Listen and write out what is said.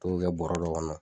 K'o kɛ bɔrɔ dɔ kɔnɔ.